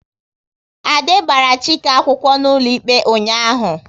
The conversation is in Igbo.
Ade gbara Chike akwụkwọ n'ụlọikpe ụnyaahụ